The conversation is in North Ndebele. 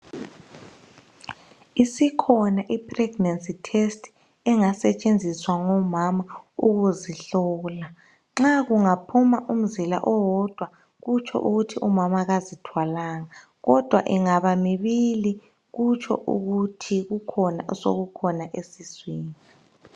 Isikhona ipregnency test engasetshenziswa ngomama ukuzihlola nxa kungaphuma umzila owodwa kutsho ukuba umama kazithwalanga kodwa ingabamibili kutsho ukuthi kukhona osekukhona esiswini